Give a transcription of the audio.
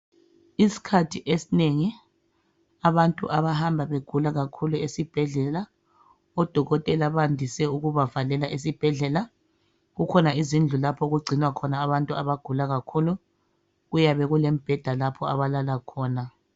Iskhathi esinengi abantu abahamba begula kakhulu esibhedlela, odokotela bandise ukubavalela esibhedlela. Kukhona izindlu lapho okugcinwa khona abantu abagula kakhulu. Kuyabe kulembeda lapho abalala khona.